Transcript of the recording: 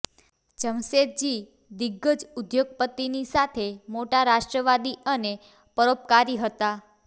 જમશેદજી દિગ્ગજ ઉદ્યોગપતિની સાથે મોટા રાષ્ટ્રવાદી અને પરોપકારી હતા